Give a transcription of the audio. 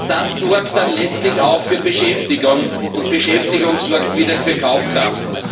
Das sorgt dann letztlich auch für Beschäftigung, und Beschäftigung sorgt wieder für Kaufkraft.